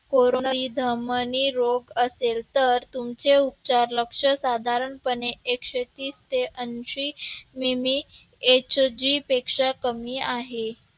धमनी रोग असेल तर तुमचे उपचार लक्ष साधारणपणे एकशे तीस ते ऐंशी मिमी Hg पेक्षा कमी आहे.